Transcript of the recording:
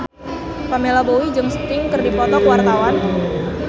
Pamela Bowie jeung Sting keur dipoto ku wartawan